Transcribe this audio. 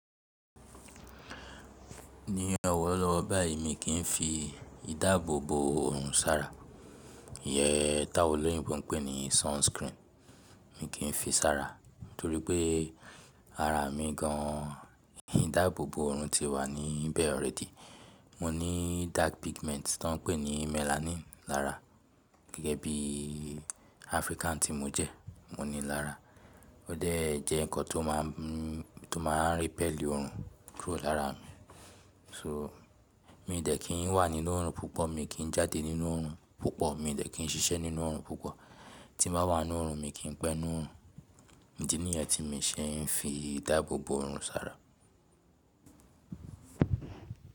Ní ọ̀wọ̀ lọ́wọ́ báyìí mi kì n fi ìdáàbòbò òòrùn sára. Iyen t'áwọn oloyinbo n pè ní sunscreen, mi kì n fi sára torípé ara mi gan an ìdáàbòbò òòrùn ti wà níbẹ̀ already. Mo ní dark pigment ti won ń pè ní melanin lára gẹ́gẹ́ bí African tí mo jẹ́, mo ní i lára. Ó de jẹ́ ǹkan tó máa ń, tó máa ń repel òòrùn kúrò lára mi. So mi dẹ̀ kí ń wà nínú òòrùn púpọ̀, mi kì n jáde nínú òòrùn púpọ̀, mi dẹ̀ kí ń ṣiṣẹ́ nínú òòrùn púpọ̀. Tí n ba wà nínú òòrùn mi kì n pẹ́ nínu òòrùn. Idi niyen tí mi ṣe ń fi ìdáàbòbò òòrùn sára.